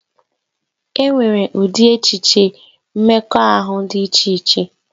E nwere ụdị echiche mmekọahụ dị iche iche